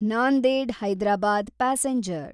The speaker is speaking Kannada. ನಾಂದೆಡ್ ಹೈದರಾಬಾದ್ ಪ್ಯಾಸೆಂಜರ್